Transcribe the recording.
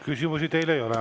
Küsimusi teile ei ole.